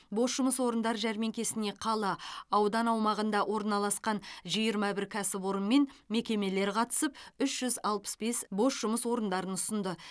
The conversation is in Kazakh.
бос жұмыс орындар жәрмеңкесіне қала аудан аумағында орналасқан жиырма бір кәсіпорын мен мекемелер қатысып үш жүз алпыс бес бос жұмыс орындарын ұсынды